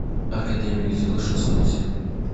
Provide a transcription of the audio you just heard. академик зил шестьсот сил